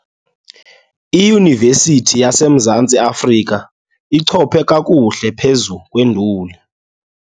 Iyunivesithi yaseMzantsi Afrika ichophe kakuhle phezu kwenduli.